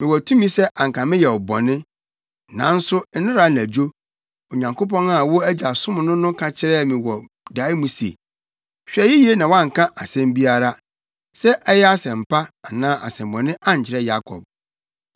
Mewɔ tumi sɛ anka meyɛ wo bɔne, nanso nnɛra anadwo, Onyankopɔn a wo agya som no no ka kyerɛɛ me wɔ dae mu se, ‘Hwɛ yiye na woanka asɛm biara, sɛ ɛyɛ asɛm pa anaa asɛmmɔne ankyerɛ Yakob.’